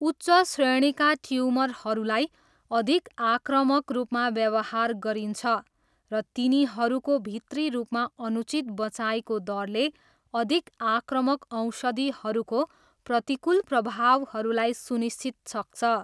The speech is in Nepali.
उच्च श्रेणीका ट्युमरहरूलाई अधिक आक्रामक रूपमा व्यवहार गरिन्छ र तिनीहरूको भित्री रूपमा अनुचित बँचाइको दरले अधिक आक्रामक औषधिहरूको प्रतिकूल प्रभावहरूलाई सुनिश्चित सक्छ।